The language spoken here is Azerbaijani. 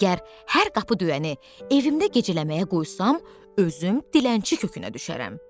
Əgər hər qapı döyəni evimdə gecələməyə qoysam, özüm dilənçi kökünə düşərəm.